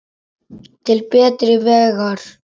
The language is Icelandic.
Til betri vegar.